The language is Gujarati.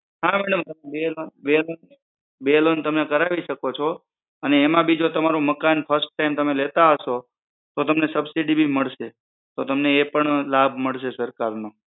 હા madam બે loan બે loan તમે કરાવી શકો છો અને એમાં બી જો તમારું મકાન first time તમે લેતા હશો તો તમને સબસિડીપણ મળશે તો તમને એ પણ લાભ મળશે સરકાર નો